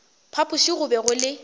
phapoši go be go le